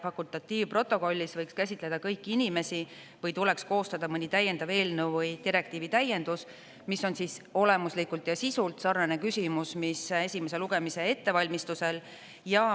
Fakultatiivprotokollis võiks käsitleda kõiki inimesi või tuleks koostada mõni täiendav eelnõu või direktiivi täiendus, mis on olemuslikult ja sisult sarnane küsimus, mis esimese lugemise ettevalmistusel.